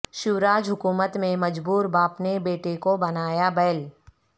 شیو راج حکومت میں مجبور باپ نے بیٹے کو بنایا بیل